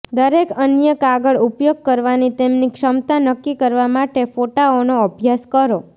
દરેક અન્ય આગળ ઉપયોગ કરવાની તેમની ક્ષમતા નક્કી કરવા માટે ફોટાઓનો અભ્યાસ કરો